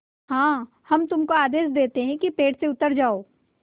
हाँ हम तुमको आदेश देते हैं कि पेड़ से उतर जाओ